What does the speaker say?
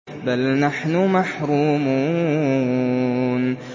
بَلْ نَحْنُ مَحْرُومُونَ